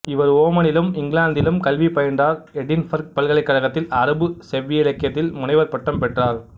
இவர் ஓமனிலும் இங்கிலாந்திலும் கல்விப் பயின்றார் எடின்பர்க் பல்கலைக்கழகத்தில் அரபு செவ்விலக்கியத்தில் முனைவர் பட்டம் பெற்றார்